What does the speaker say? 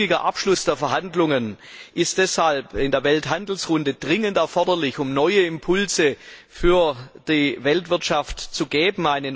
Ein zügiger Abschluss der Verhandlungen ist deshalb in der Welthandelsrunde dringend erforderlich, um neue Impulse für die Weltwirtschaft zu geben.